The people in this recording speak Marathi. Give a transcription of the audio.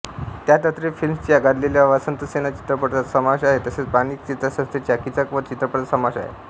त्यात अत्रे फिल्म्सच्या गाजलेल्या वसंतसेना चित्रपटाचा समावेश आहे तसेच माणिक चित्रसंस्थेच्या कीचकवध चित्रपटाचा समावेश आहे